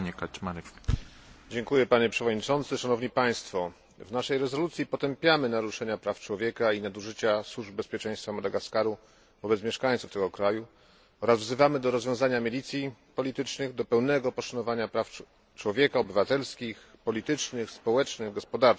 W naszej rezolucji potępiamy naruszanie praw człowieka i nadużycia służb bezpieczeństwa Madagaskaru wobec mieszkańców tego kraju oraz wzywamy do rozwiązania milicji politycznych, do pełnego poszanowania praw człowieka, praw obywatelskich, politycznych, społecznych, gospodarczych oraz do przywrócenia rządów prawa.